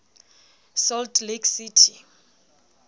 salt lake city